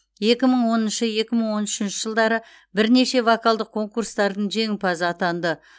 екі мың он екі мың он үшінші жылдары бірнеше вокалдық конкурстардың жеңімпазы атанды